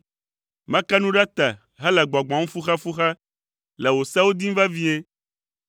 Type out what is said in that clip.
Meke nu ɖe te hele gbɔgbɔm fuxefuxe, le wò sewo dim vevie.